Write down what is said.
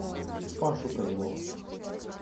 пашу козлова